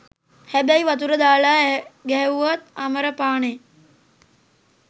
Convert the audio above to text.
හැබැයි වතුර දාලා ගැහැව්වත් අමර පානේ.